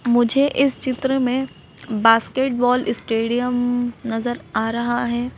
मुझे इस चित्र में बास्केटबॉल स्टेडियम नजर आ रहा है।